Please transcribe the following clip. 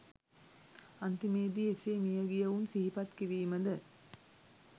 අන්තිමේ දී එසේ මිය ගියවුන් සිහිපත් කිරීම ද